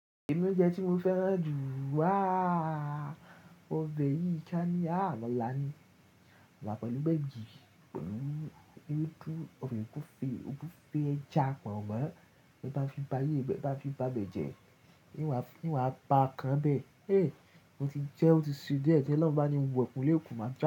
Èmi oúnjẹ tí mo fẹ́ràn jù, ah, ọbẹ̀ yìí kán ní, ah, amala ni. Amala pẹ̀lú gbegiri pẹ̀lú ewẹdu obe ogunfe ogunfe ẹja pọ̀n mọ́. Ẹ bá fi ba yé, ẹ bá fi ba bẹ̀jẹ, n wa a, inú a pa kan bẹ. Eh, ó ti jẹ́, ó ti se die, tiolorun bá ni wo ọkùnrin lè kú máa jẹ́